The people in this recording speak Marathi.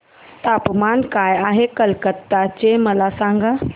तापमान काय आहे कलकत्ता चे मला सांगा